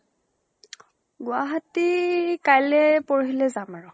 গুৱাহাটী কালিলৈ পুৰহী লে যাম আৰু